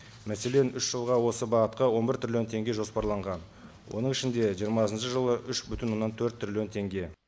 мәселен үш жылға осы бағытқа он бір триллион теңге жоспарланған оның ішінде жиырмасыншы жылы үш бүтін оннан төрт триллион теңге